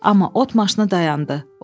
Amma ot maşını dayandı.